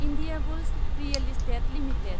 Indiabulls real estate limited